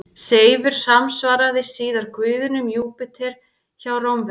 Seifur samsvaraði síðar guðinum Júpíter hjá Rómverjum.